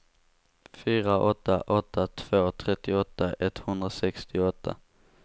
fyra åtta åtta två trettioåtta etthundrasextioåtta